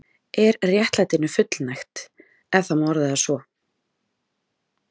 Er réttlætinu fullnægt, ef það má orða það svo?